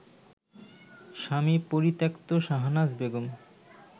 স্বামী পরিত্যক্তা শাহনাজ বেগম